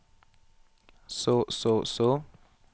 så så så